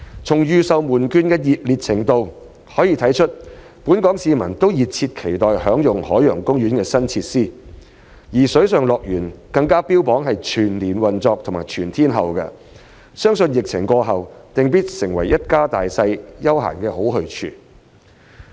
從預售門票的熱烈程度可見本港市民都熱切期待享用海洋公園的新設施，而水上樂園更加標榜全年及全天候運作，相信疫情過後，定必成為一家大小的休閒好去處。